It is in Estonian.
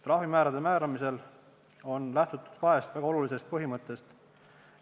Trahvimäärade määramisel on lähtutud kahest väga olulisest põhimõttest.